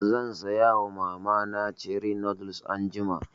Zan saya wa mama na cherie noodles anjima